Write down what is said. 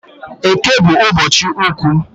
Eke bu ụbọchị ukwu